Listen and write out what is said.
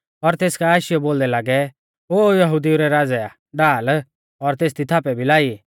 और तेस काऐ आशीआशीयौ बोलदै लागै ओ यहुदिऊ रै राज़ै आ ढाल और तेसदी थापै भी लाई